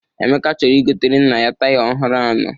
Emeka chọrọ igotere nna ya taya ọhụrụ anọ.